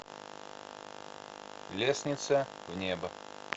лестница в небо